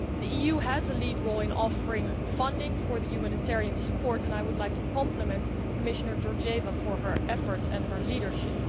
The EU has a lead role in offering funding for humanitarian support and I would like to compliment Commissioner Georgieva for her efforts and her leadership.